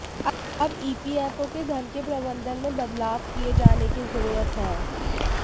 अब ईपीएफओ के धन के प्रबंधन में बदलाव किए जाने की जरूरत है